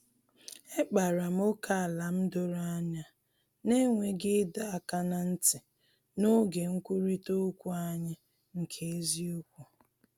Ekpara m ókèala m doro anya, n’enweghị ịdọ aka ná ntị, n’oge nkwurịta okwu anyị nke eziokwu